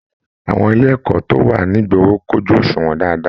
Àwọn ilé ẹ̀kọ́ tó wà nigboro kojú oṣuwọn dáadáa.